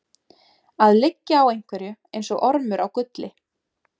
Að liggja á einhverju eins og ormur á gulli